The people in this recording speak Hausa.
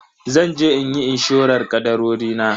Zanje inyi inshorar kadarori na.